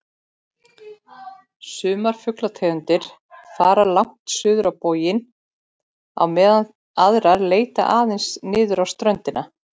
Sumar fuglategundir fara langt suður á boginn á meðan aðrar leita aðeins niður á ströndina.